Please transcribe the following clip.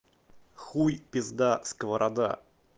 хуй пизда сковорода